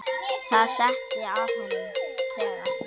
Það setti að honum trega.